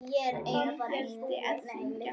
Ég hætti að syngja.